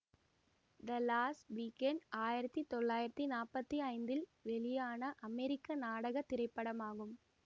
த lost weekend ஆயிரத்தி தொள்ளாயிரத்தி நாற்பத்தி ஐந்தில் வெளியான அமெரிக்க நாடக திரைப்படமாகும்